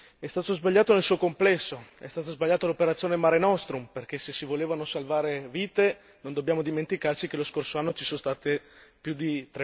È stato sbagliato nel suo complesso è stata sbagliata l'operazione Mare Nostrum perché se si volevano salvare vite non dobbiamo dimenticarci che lo scorso anno ci sono state più di